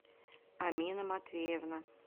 амина матвеевна